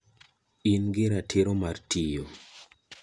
In gi ratiro mar tiyo